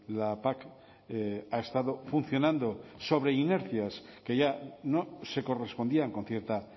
la pac ha estado funcionando sobre inercias que ya no se correspondían con cierta